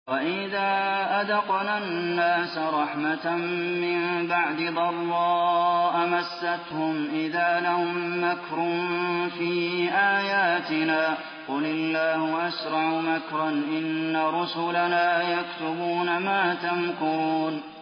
وَإِذَا أَذَقْنَا النَّاسَ رَحْمَةً مِّن بَعْدِ ضَرَّاءَ مَسَّتْهُمْ إِذَا لَهُم مَّكْرٌ فِي آيَاتِنَا ۚ قُلِ اللَّهُ أَسْرَعُ مَكْرًا ۚ إِنَّ رُسُلَنَا يَكْتُبُونَ مَا تَمْكُرُونَ